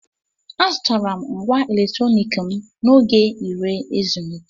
Azụtara m ngwá electronic m n'oge ire ezumike.